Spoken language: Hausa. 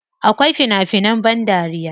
Akwai fina finan ban dariya.